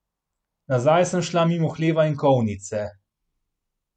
Nazaj sem šla mimo hleva in kolnice.